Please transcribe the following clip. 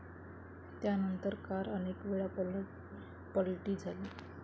त्यांनतर कार अनेकवेळा पलटी झाली.